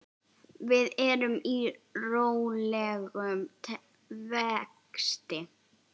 Við erum í rólegum vexti.